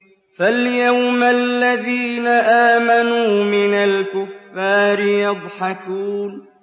فَالْيَوْمَ الَّذِينَ آمَنُوا مِنَ الْكُفَّارِ يَضْحَكُونَ